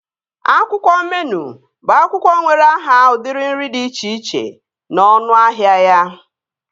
Akwụkwọ meenụ bụ akwụkwọ nwere aha udiri nri dị iche iche na ọnụahịa ya